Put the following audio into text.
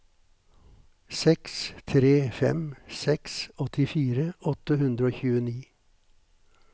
seks tre fem seks åttifire åtte hundre og tjueni